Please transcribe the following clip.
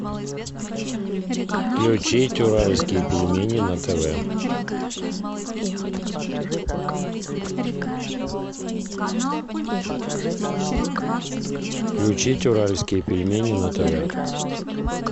включить уральские пельмени на тв включить уральские пельмени на тв